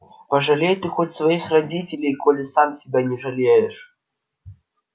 пожалей ты хоть своих родителей коли сам себя не жалеешь